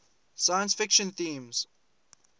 science fiction themes